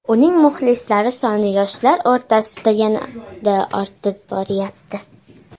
Uning muxlislari soni yoshlar o‘rtasida yanada ortib boryapti.